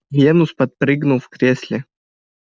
венус подпрыгнул в кресле